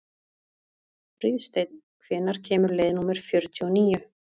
Fríðsteinn, hvenær kemur leið númer fjörutíu og níu?